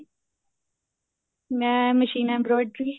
ਮੈਂ machine embroidery